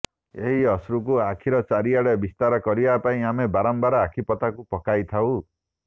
ଏହି ଅଶ୍ରୁକୁ ଆଖିର ଚାରିଆଡେ ବିସ୍ତାର କରିବା ପାଇଁ ଆମେ ବାରମ୍ବାର ଆଖିପତାକୁ ପକାଇଥାଉ